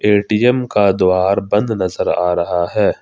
ATM का द्वार बंद नजर आ रहा है।